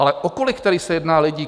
Ale o kolik se tedy jedná lidí?